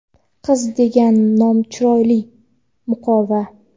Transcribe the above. Qiz degan nom chiroyli - muqova.